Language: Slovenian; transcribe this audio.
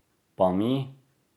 Pa mi?